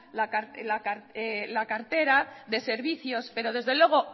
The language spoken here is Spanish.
la cartera de servicios pero desde luego